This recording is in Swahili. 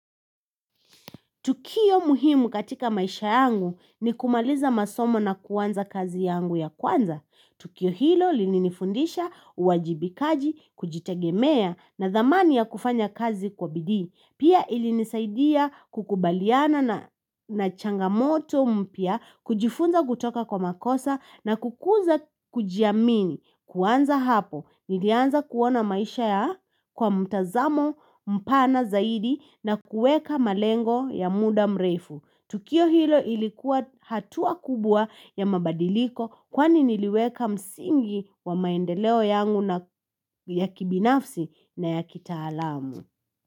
Tukio muhimu katika maisha yangu ni kumaliza masomo na kuanza kazi yangu ya kwanza. Tukio hilo lilinifundisha, uwajibikaji, kujitegemea na dhamani ya kufanya kazi kwa bidii. Pia ilinisaidia kukubaliana na changamoto mpya, kujifunza kutoka kwa makosa na kukuza kujiamini. Kuanza hapo, nilianza kuona maisha ya kwa mtazamo mpana zaidi na kueka malengo ya muda mrefu. Tukio hilo ilikuwa hatua kubwa ya mabadiliko kwani niliweka msingi wa maendeleo yangu ya kibinafsi na ya kitaalamu.